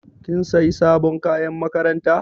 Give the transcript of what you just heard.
Kin sayi sabon kayan makaranta?